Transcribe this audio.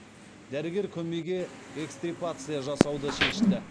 дәрігер көмейге экстирпация жасауды шешті